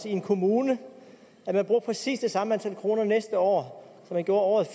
i en kommune bruger præcis det samme antal kroner næste år som man gjorde året